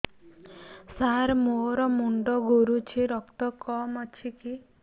ସାର ମୋର ମୁଣ୍ଡ ଘୁରୁଛି ରକ୍ତ କମ ଅଛି କି